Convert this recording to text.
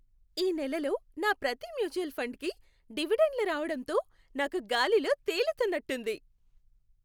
ఈ నెలలో నా ప్రతి మ్యూచువల్ ఫండ్కి డివిడెండ్లు రావడంతో నాకు గాలిలో తేలుతున్నట్టుంది.